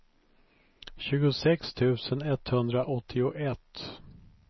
tjugosex tusen etthundraåttioett